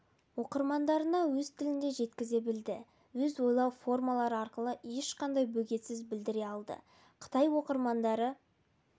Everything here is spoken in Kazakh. оқырмандарына өз тілінде жеткізе білді өз ойлау формалары арқылы ешқандай бөгетсіз білдіре алды қытай оқырмандары